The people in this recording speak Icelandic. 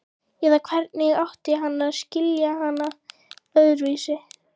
Eða hvernig átti hann að skilja hana öðruvísi?